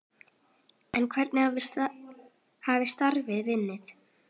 En hvernig hefur starfið gengið?